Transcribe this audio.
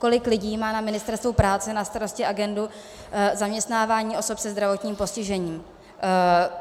Kolik lidí má na Ministerstvu práce na starosti agendu zaměstnávání osob se zdravotním postižením?